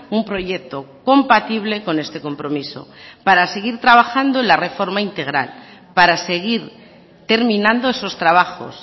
un proyecto compatible con este compromiso para seguir trabajando en la reforma integral para seguir terminando esos trabajos